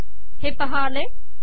हे पहा आले